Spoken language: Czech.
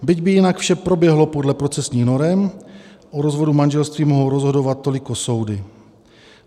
Byť by jinak vše proběhlo podle procesních norem, o rozvodu manželství mohou rozhodovat toliko soudy.